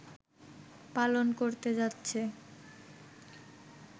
পালন করতে যাচ্ছে